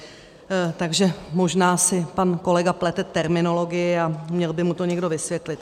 Takže možná si pak kolega plete terminologii a měl by mu to někdo vysvětlit.